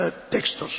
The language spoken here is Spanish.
textos.